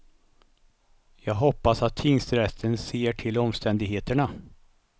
Jag hoppas att tingsrätten ser till omständigheterna.